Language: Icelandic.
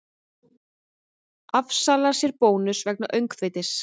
Afsalar sér bónus vegna öngþveitis